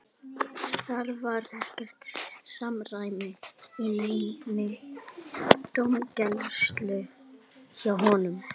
Það var ekkert samræmi í neinni dómgæslu hjá honum.